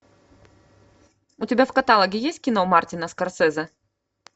у тебя в каталоге есть кино мартина скорсезе